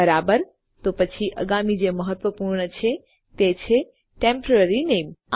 બરાબર તો પછી આગામી જે ખૂબ મહત્વપૂર્ણ છે તે છે ટેમ્પોરરી નામે